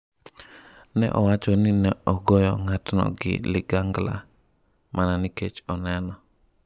"Ne owacho ni ne ogoyo ng'atno gi ligangla ""mana nikech oneno"".